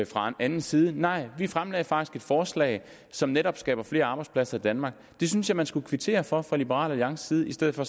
fra anden side nej vi fremsatte faktisk et forslag som netop skaber flere arbejdspladser i danmark og det synes jeg man skulle kvittere for fra liberal alliances side i stedet for